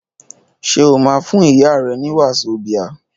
Ṣé o máa fún ìyá rẹ ní wasobia?